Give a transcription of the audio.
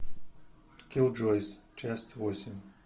киллджойс часть восемь